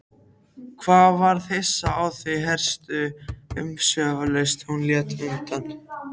Hann varð hissa á því hversu umsvifalaust hún lét undan.